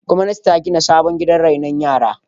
Gwamnati ta gina sabon gidan rainon yara.